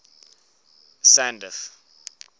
sandf